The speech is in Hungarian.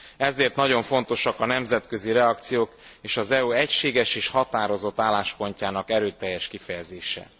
Ezért nagyon fontosak a nemzetközi reakciók, és az EU egységes és határozott álláspontjának erőteljes kifejezése.